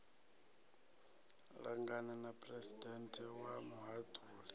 langana na phuresidennde wa muhaṱuli